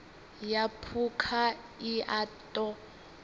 ya phukha i a ṱo